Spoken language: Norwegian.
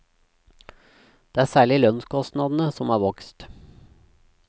Det er særlig lønnskostnadene som har vokst.